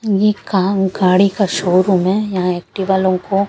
ये कार गाड़ी का शोरूम है यहां एक्टिवा लोगों को--